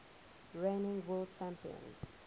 reigning world champion